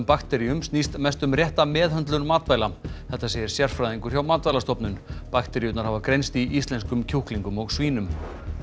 bakteríum snýst mest um rétta meðhöndlun matvæla þetta segir sérfræðingur hjá Matvælastofnun bakteríurnar hafa greinst í íslenskum kjúklingum og svínum